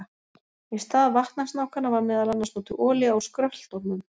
Í stað vatnasnákanna var meðal annars notuð olía úr skröltormum.